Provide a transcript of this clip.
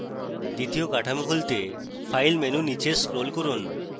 দ্বিতীয় কাঠামো খুলতে file menu নীচে scroll করুন